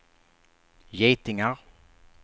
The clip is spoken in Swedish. getingar